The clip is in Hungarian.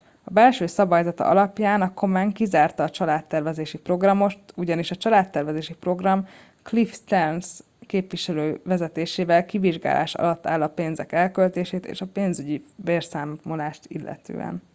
belső szabályzata alapján a komen kizárta a családtervezési programot ugyanis a családtervezési program cliff stearns képviselő vezetésével kivizsgálás alatt áll a pénzek elköltését és a pénzügyi beszámolást illetően